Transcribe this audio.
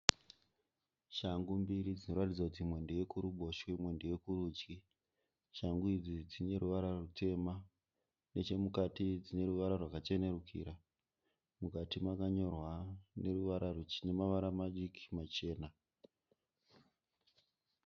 Shangu mbiri dzinoratidza kuti imwe ndeyekuruboshwe imwe ndeyekurudyi. Shangu idzi dzine ruvara rwutema. Nechemukati dzineruvara rwakachenurikira. Mukati makanyorwa nemavara madiki machena.